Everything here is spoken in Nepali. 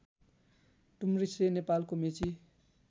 डुम्रिसे नेपालको मेची